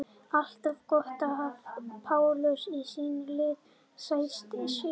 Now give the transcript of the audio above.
Alltaf gott að hafa Pálu í sínu liði Sætasti sigurinn?